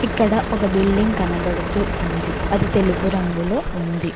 ఇక్కడ ఒక బిల్డింగ్ కనబడుతు ఉంది అది తెలుపు రంగులో ఉంది.